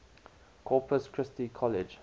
corpus christi college